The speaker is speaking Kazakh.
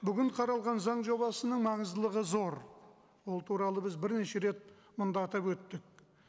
бүгін қаралған заң жобасының маңыздылығы зор ол туралы біз бірнеше рет мында атап өттік